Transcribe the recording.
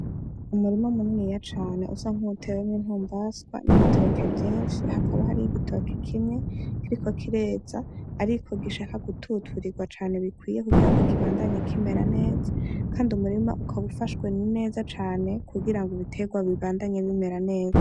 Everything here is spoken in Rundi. Umurima muniniya cane usa nk'utewemwe ntumbaswa n'ibitoke vyenshi hakabo hariho igitoki kimwe kiriko kireza, ariko gishaka gututurirwa cane bikwiye kugira ngo kibandanye kimera neza, kandi umurima ukaba ufashwe neza cane kugira ngo biterwa bibandanye bimera neza.